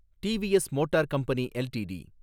TVS motor company LTD